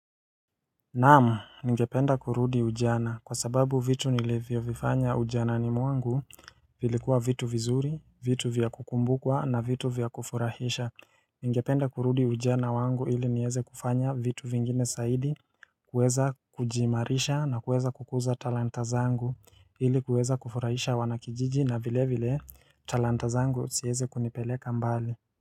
Naam, ningependa kurudi ujana kwa sababu vitu nilivyovifanya ujanani mwangu vilikuwa vitu vizuri, vitu vya kukumbukwa na vitu vya kufurahisha Ningependa kurudi ujana wangu ili niieze kufanya vitu vingine zaidi, kuweza kujiimarisha na kuweza kukuza talanta zangu ili kuweza kufurahisha wanakijiji na vile vile talanta zangu ziezi kunipeleka mbali.